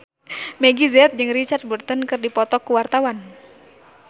Meggie Z jeung Richard Burton keur dipoto ku wartawan